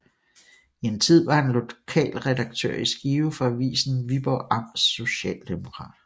I en tid var han lokalredaktør i Skive for avisen Viborg Amts Socialdemokrat